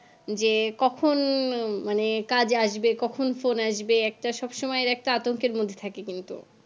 যে কখন মানে কাজ আসবে কখন phone আসবে একটা সবসময়ের একটা আতঙ্কের মধ্যে থাকে কিন্তু